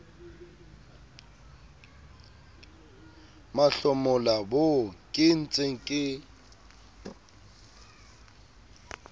mahlomola boo ke ntseng ke